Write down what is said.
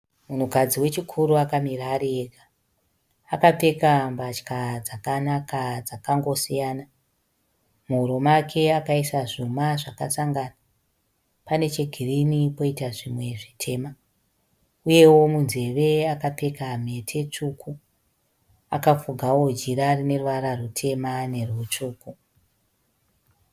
Mukadzi wechikuru akamira ari ega. Akapfeka mbatya dzakanaka dzakangosiyana. Muhuro make akaisa zvuma zvakasangana. Pane chegirini poita zvimwe zvitema uyewo munzeve akapfeka mhete tsvuku. Akafugawo jira rine ruvara rutema nerwutsvuku.